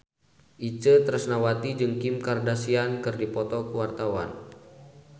Itje Tresnawati jeung Kim Kardashian keur dipoto ku wartawan